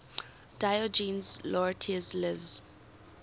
diogenes laertius's lives